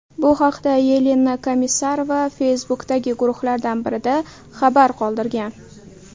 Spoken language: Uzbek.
Bu haqda Yelena Komissarova Facebook’dagi guruhlardan birida xabar qoldirgan .